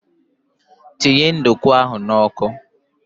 Tinye nduku ahụ n'ọkụ!